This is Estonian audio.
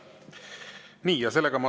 Aitäh!